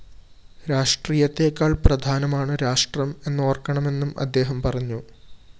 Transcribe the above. രാഷ്ട്രീയത്തേക്കാള്‍ പ്രധാനമാണ് രാഷ്ട്രം എന്നോര്‍ക്കണമെന്നും അദ്ദേഹം പറഞ്ഞു